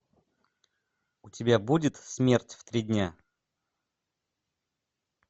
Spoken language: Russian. у тебя будет смерть в три дня